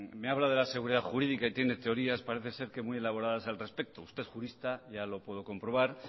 me habla de la seguridad jurídica y tiene teorías parece ser que muy elaboradas al respecto usted es jurista ya lo puedo comprobar